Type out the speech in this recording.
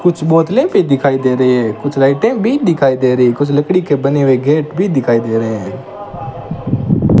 कुछ बोतले भी दिखाई दे रही है कुछ लाइटे भी दिखाई दे रही कुछ लकड़ी के बने हुए गेट भी दिखाई दे रहे हैं।